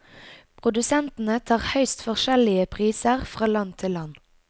Produsentene tar høyst forskjellige priser fra land til land.